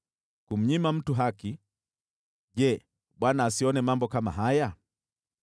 kumnyima mtu haki: Je, Bwana asione mambo kama haya?